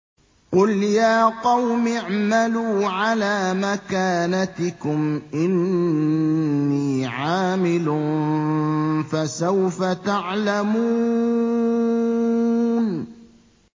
قُلْ يَا قَوْمِ اعْمَلُوا عَلَىٰ مَكَانَتِكُمْ إِنِّي عَامِلٌ ۖ فَسَوْفَ تَعْلَمُونَ